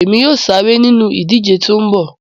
Èmi yóò sáré nínú ìdíje tó ń bọ̀